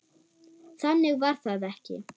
Þannig var það ekki.